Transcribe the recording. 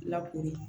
Lakori